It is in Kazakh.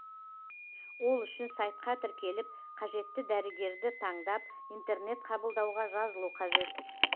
ол үшін сайтқа тіркеліп қажетті дәрігерді таңдап интернет қабылдауға жазылу қажет